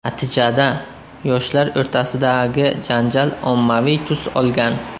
Natijada, yoshlar o‘rtasidagi janjal ommaviy tus olgan.